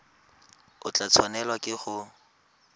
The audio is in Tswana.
o tla tshwanelwa ke go